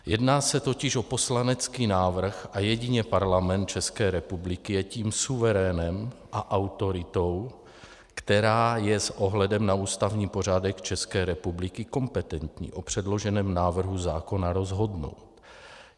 Jedná se totiž o poslanecký návrh a jedině Parlament České republiky je tím suverénem a autoritou, která je s ohledem na ústavní pořádek České republiky kompetentní o předloženém návrhu zákona rozhodnout.